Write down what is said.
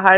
আহ